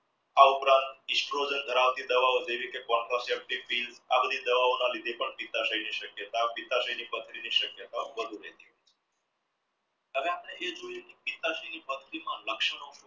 આ ઉપરાંત ધરાવતી દવાઓ જેવી કે આ બધી દવા ના લીધે પણ શક્યતા પથરીની શક્યતા પથરીના લક્ષણો